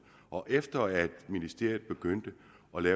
og efter at ministeriet begyndte